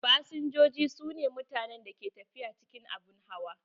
Fasinjoji su ne mutanen da ke tafiya cikin abun hawa.